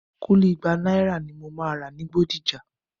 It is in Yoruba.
Kúlí igba náírà ni mo máa rà ní Bódìjà